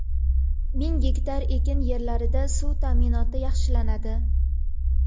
Ming gektar ekin yerlarida suv ta’minoti yaxshilanadi.